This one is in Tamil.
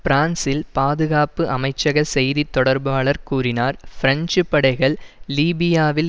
பிரான்சில் பாதுகாப்பு அமைச்சக செய்தி தொடர்பாளர் கூறினார் பிரெஞ்சு படைகள் லீபியாவில்